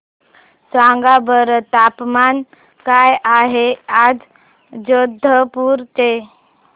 सांगा बरं तापमान काय आहे आज जोधपुर चे